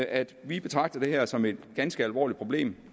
at vi betragter det her som et ganske alvorligt problem